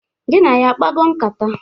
Gị na ya akpago nkata?